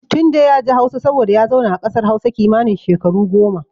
Tunde yaji Hausa saboda ya zauna a kasar Hausa kimanin shekaru goma.